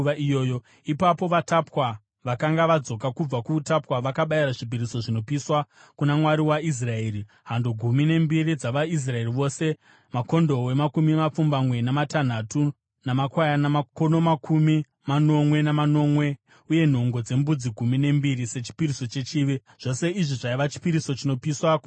Ipapo vatapwa vakanga vadzoka kubva kuutapwa vakabayira zvipiriso zvinopiswa kuna Mwari waIsraeri: hando gumi nembiri dzavaIsraeri vose, makondobwe makumi mapfumbamwe namatanhatu, namakwayana makono makumi manomwe namanomwe, uye nhongo dzembudzi gumi nembiri, sechipiriso chechivi. Zvose izvi zvaiva chipiriso chinopiswa kuna Jehovha.